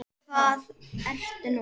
Hvað er nú?